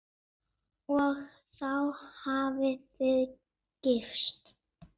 Og þá hafið þið gifst?